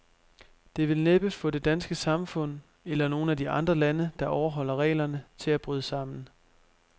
Det vil næppe få det danske samfund, eller nogen af de andre lande, der overholder reglerne, til at bryde sammen.